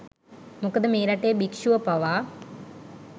මොකද මේ රටේ භික්ෂුව පවා